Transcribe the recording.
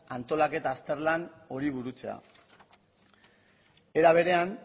antolaketa azterlan hori burutzea era berean